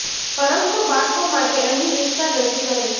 પરંતુ બાળકો માટે અહીં વિસ્તાર રજૂ કરે છે